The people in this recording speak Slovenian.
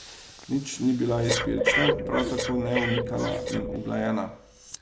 Nič ni bila izbirčna, prav tako ne omikana in uglajena.